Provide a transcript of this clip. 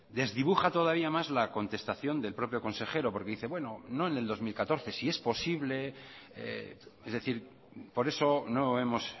desdibuja todavía más la contestación del propio consejero porque dice bueno no en el dos mil catorce si es posible es decir por eso no hemos